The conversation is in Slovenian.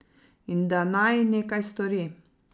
In da naj nekaj stori.